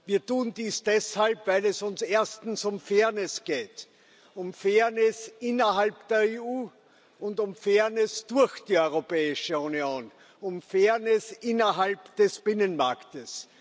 Wir tun dies deshalb, weil es uns erstens um Fairness geht, um Fairness innerhalb der EU und um Fairness durch die Europäische Union, um Fairness innerhalb des Binnenmarkts.